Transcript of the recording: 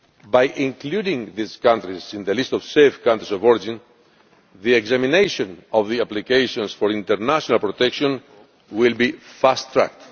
By including these countries in the list of safe countries of origin, the examination of the applications for international protection will be fast tracked.